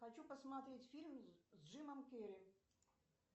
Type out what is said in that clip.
хочу посмотреть фильм с джимом керри